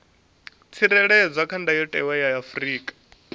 tsireledzwa kha ndayotewa ya afrika